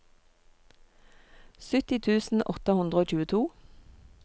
sytti tusen åtte hundre og tjueto